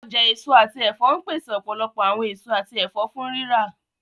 Ọja eso ati ẹfọ npese ọpọlọpọ awọn eso ati ẹfọ fun rira.